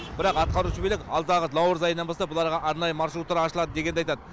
бірақ атқарушы билік алдағы наурыз айынан бастап бұл арада арнайы маршруттар ашылады дегенді айтады